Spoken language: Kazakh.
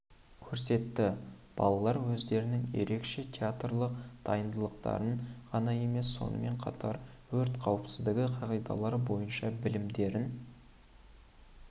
көрсетті балалар өздерінің ерекше театрлық дарындылықтарын ғана емес сонымен қатар өрт қауіпсіздігі қағидалары бойынша білімдерін